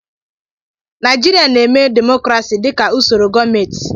Naịjirịa na-eme demokrasi dịka usoro gọọmenti.